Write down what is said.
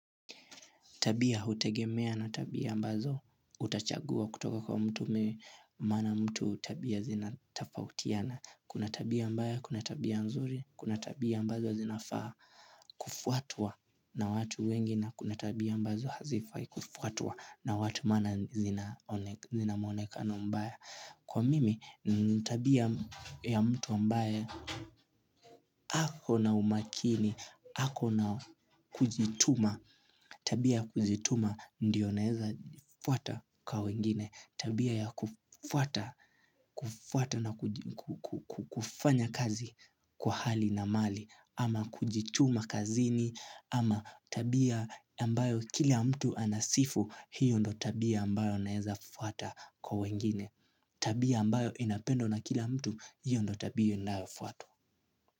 Tabia hutegemea na tabia mbazo utachagua kutoka kwa mtu mana mtu tabia zinatafautiana Kuna tabia mbaya, kuna tabia nzuri, kuna tabia mbazo zinafaa Ufuatwa na watu wengi na kuna tabia mbazo hazifai kufuatwa na watu maana zinaonekana zinamuonekano mbaya Kwa mimi, tabia ya mtu mbaye akona umakini, hako na kujituma Tabia kujituma ndiyo naeza fuwata kwa wengine Tabia ya kufwata na kufanya kazi kwa hali na mali ama kujituma kazini ama tabia ambayo kila mtu anasifu hiyo ndio tabia ambayo naeza fuwata kwa wengine Tabia ambayo inapendo na kila mtu hiyo ndo tabia na fuwato.